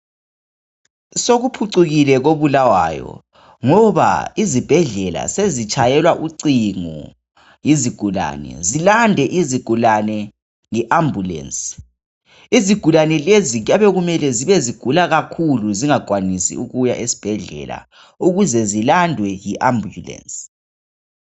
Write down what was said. Sokuphucukile koBulawayo ngoba izibhedlela sezitshayelwa ucingo izigulane zilandwe yiambulance. Izigulane lezi kuyabe kumele zibe zigula kakhulu zingakwanisi ukuya esibhedlela ukuze zilandwe yiambulance.